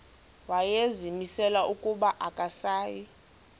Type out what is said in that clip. wayezimisele ukuba akasayi